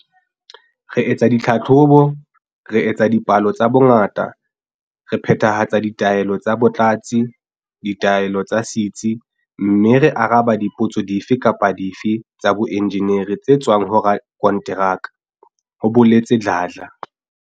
"Re etsa ditlhahlobo, re etsa dipalo tsa bongata, re phethahatsa ditaelo tsa batlatsi, ditaelo tsa setsi mme re araba dipotso dife kapa dife tsa boenjeneri tse tswang ho rakonteraka," ho boletse Dladla.